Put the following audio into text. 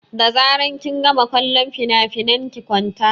Da zaran kin gama kallon finafinan ki kwanta!